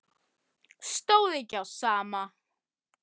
Stóð ekki á sama.